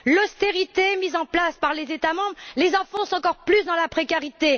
L'austérité mise en place par les États membres les enfonce encore plus dans la précarité.